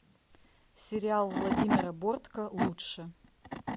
сериал владимира бортко лучше